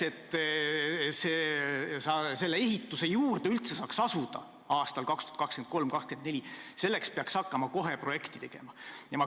Et selle ehituse juurde üldse saaks aastail 2023 ja 2024 asuda, peaks hakkama kohe projekti tegema.